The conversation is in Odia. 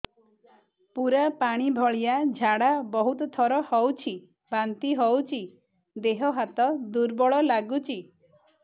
ପୁରା ପାଣି ଭଳିଆ ଝାଡା ବହୁତ ଥର ହଉଛି ବାନ୍ତି ହଉଚି ଦେହ ହାତ ଦୁର୍ବଳ ଲାଗୁଚି